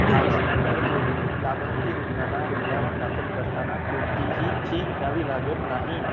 आयुष्यमान भारत योजनेत लाभार्थी रुग्णाला रुग्णालयात दाखल करताना कोणतीही फी भरावी लागत नाही